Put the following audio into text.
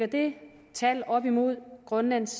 det tal op imod grønlands